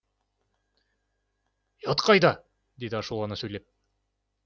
ұят қайда деді ашулана сөйлеп